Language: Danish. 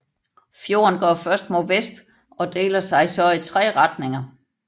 Fjorden går først mod vest og deler sig så i tre retninger